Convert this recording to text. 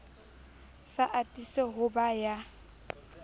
sa atise ho ba ya